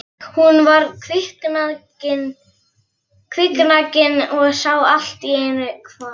Hún var kviknakin og sá allt í einu hvar